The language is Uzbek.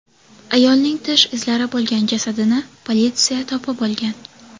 Ayolning tish izlari bo‘lgan jasadini politsiya topib olgan.